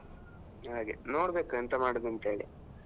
ಹಾಗೆ ನೋಡ್ಬೇಕು ಎಂತ ಮಾಡುದಂತ ಹೇಳಿ.